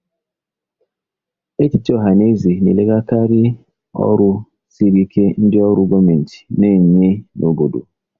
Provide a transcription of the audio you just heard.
Echiche ọha na eze na-elegharakarị ọrụ siri ike ndị ọrụ gọọmentị na-enye n'obodo.